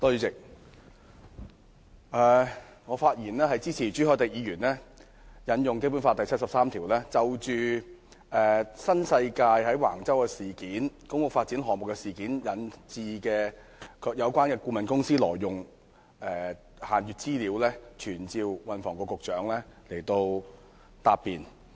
主席，我發言支持朱凱廸議員引用《基本法》第七十三條，就新世界有關顧問公司涉嫌在橫洲的公屋發展項目中挪用限閱資料一事，傳召運輸及房屋局局長到立法會答辯。